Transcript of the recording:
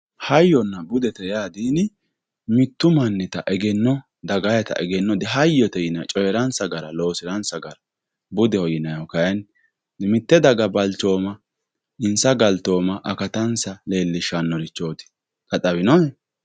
hayyonna budete yaa mittu mannita egeno dagayiita egenno di hayoote yinay coyiiransa gara loosiransa gara budeho yinaayihu kaayiinni mitte daga balchooma inssa galtooma akatansa leelishannorichooti xa xawinohe